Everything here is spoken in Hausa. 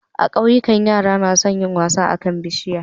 A kauyika yara nason yin wasa akan bishiya